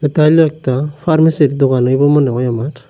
এইখান একটা ফার্মাসির দোকান হইবো মনে হয় আমার।